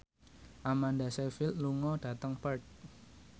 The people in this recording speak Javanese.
Amanda Sayfried lunga dhateng Perth